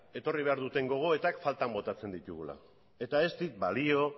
etorri behar duten gogoetak faltak botatzen ditugula eta ez dit balio